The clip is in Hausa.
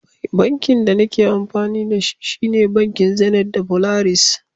Bankin da nake amfani da shi, shine bankin Zenith da Polaris.